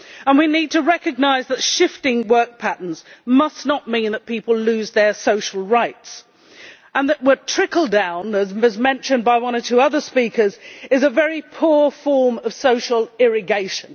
We need to recognise that shifting work patterns must not mean that people lose their social rights, and that trickle down, as mentioned by one or two other speakers, is a very poor form of social irrigation.